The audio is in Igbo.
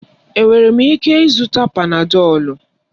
Enwere m ịke ịzụta panadọlu?